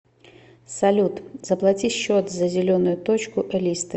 салют заплати счет за зеленую точку элисты